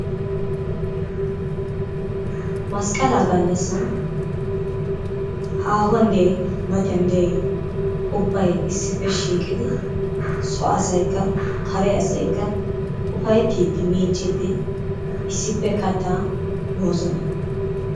Masqalaa gallasaan haahuwaan diyay matan diyay ubbay issippe shiiqqidi soo asaykka kare asaykka upayttidi miicciidi issippe kaattaa moosona.